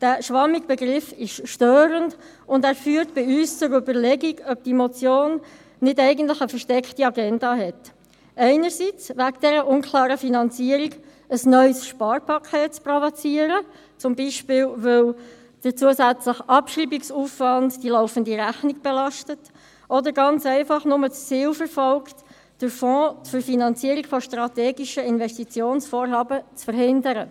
Der schwammige Begriff ist störend und führt bei uns zur Überlegung, ob die Motion nicht eigentlich eine versteckte Agenda hat, einerseits wegen der unklaren Finanzierung, ein neues Sparpaket zu provozieren, weil zum Beispiel der zusätzliche Abschreibungsaufwand, die laufende Rechnung belastet oder ganz einfach nur das Ziel verfolgt, den Fonds zur Finanzierung von strategischen Investitionsvorhaben, zu verhindern.